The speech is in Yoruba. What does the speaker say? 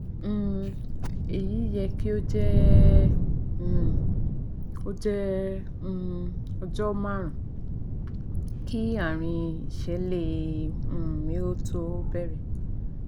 um èyí yẹ̀ kí ó jẹ́ um ó jẹ́ um ọjọ́ márùn ún kí àárín ìṣẹ̀lẹ̀ um mi tó bẹ̀rẹ̀